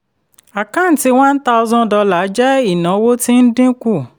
àkáǹtí $1000 jẹ́ ìnáwó tí ń dínkù.